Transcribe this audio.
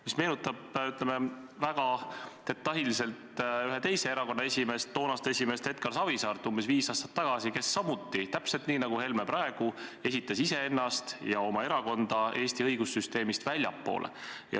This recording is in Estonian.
See meenutab, ütleme, väga detailselt ühe teise erakonna toonast esimeest Edgar Savisaart – umbes viis aastat tagasi –, kes samuti, täpselt nii nagu Helme praegu, asetas iseenda ja oma erakonna Eesti õigussüsteemist väljapoole.